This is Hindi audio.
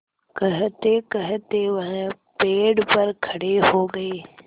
कहतेकहते वह पेड़ पर खड़े हो गए